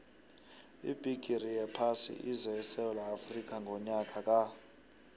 ibhigiri yephasi ize esewula afrika ngonyaka ka